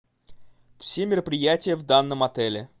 все мероприятия в данном отеле